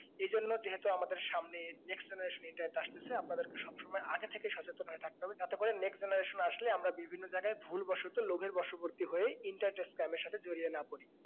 এই জন্য যেহেতু আমাদের সামনে আসতাছে আপনাদের সব সময় আগে থেকে সচেতনন হয়ে থাকতে হবে যাতে করে next generation আসলে আমরা ভিবিন্ন জায়গায় ভুল বসতো লাভার বশবর্তী হয়ে internet scam এর সাথে জড়িয়ে না পড়ি